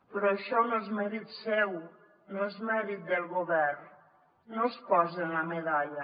però això no és mèrit seu no és mèrit del govern no es posin la medalla